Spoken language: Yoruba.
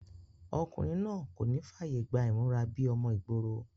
ọkùnrin náà kò ní fàyè gba ìmúra bíi ọmọ ìgboro